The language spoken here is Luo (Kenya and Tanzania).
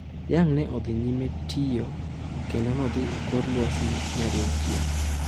Young ne odhi nyime tiyo kendo nodhi e kor lwasi nyadi auchiel.